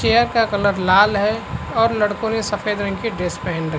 chair का colour लाल है और लडको ने सफेद रंग की ड्रेस पहन रख --